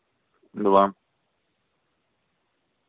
два